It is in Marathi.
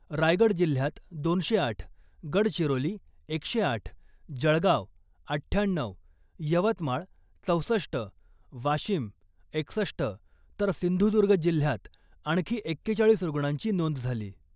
रायगड जिल्ह्यात दोनशे आठ, गडचिरोली एकशे आठ, जळगाव अठ्ठ्याण्णऊ, यवतमाळ चौसष्ट, वाशिम एकसष्ट, तर सिंधुदुर्ग जिल्ह्यात आणखी एक्केचाळीस रुग्णांची नोंद झाली .